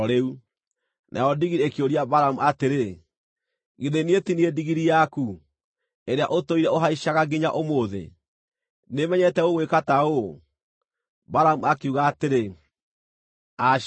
Nayo ndigiri ĩkĩũria Balamu atĩrĩ, “Githĩ niĩ ti niĩ ndigiri yaku, ĩrĩa ũtũire ũhaicaga nginya ũmũthĩ? Nĩmenyerete gũgwĩka ta ũũ?” Balamu akiuga atĩrĩ, “Aca.”